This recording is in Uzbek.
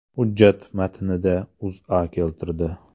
Hujjat matnida O‘zA keltirdi .